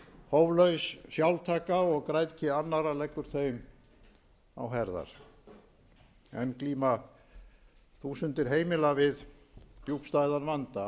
hóflaus sjálftaka og græðgi annarra leggur þeim á herðar enn glíma þúsundir heimila við djúpstæðan vanda